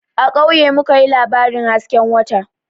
A kauye mu ka yi labarin hasken wata